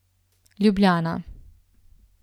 Ljubljana.